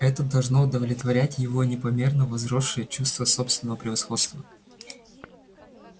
это должно удовлетворять его непомерно возросшее чувство собственного превосходства